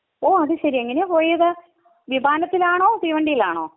ഓഹ് അത് ശരി. എങ്ങനെയാ പോയത്? വിമാനത്തിലാണോ തീവണ്ടിയിലാണോ?